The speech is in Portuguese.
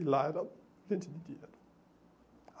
E lá era o dia-a-dia.